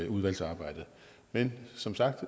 udvalgsarbejdet men som sagt